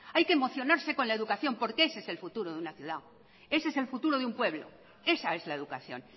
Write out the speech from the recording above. hay que emocionarse con la educación porque ese es el futuro de una ciudad ese es el futuro de un pueblo esa es la educación